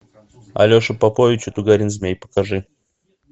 алеша попович и тугарин змей покажи